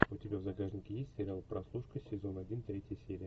у тебя в загашнике есть сериал прослушка сезон один третья серия